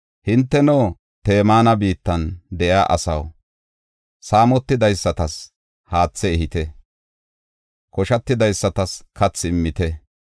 Hinteno, Teeman biittan de7iya asaw, saamotidaysatas haathe ehite; koshatidaysatas kathi immite.